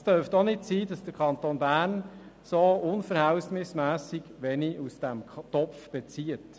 Auch darf es nicht sein, dass der Kanton Bern so unverhältnismässig wenig aus diesem Topf bezieht.